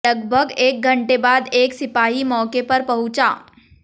लगभग एक घंटे बाद एक सिपाही मौके पर पहुंचा